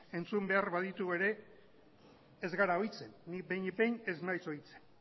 entzun behar baditugu ere ez gara ohitzen ni behinik behin ez naiz ohitzen